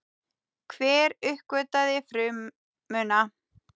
Hver uppgötvaði frumuna?